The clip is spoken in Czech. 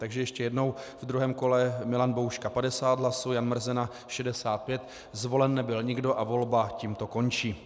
Takže ještě jednou: v druhém kole Milan Bouška 50 hlasů, Jan Mrzena 65, zvolen nebyl nikdo a volba tímto končí.